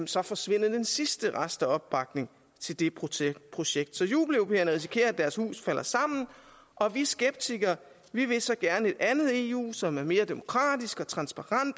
så forsvinder den sidste rest af opbakning til det projekt så jubeleuropæerne risikerer at deres hus falder sammen og vi skeptikere vil så gerne et andet eu som er mere demokratisk og transparent